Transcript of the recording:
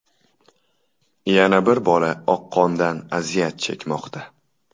Yana bir bola oqqondan aziyat chekmoqda.